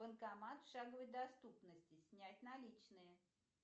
банкомат в шаговой доступности снять наличные